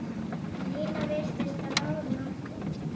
Nína virtist á báðum áttum.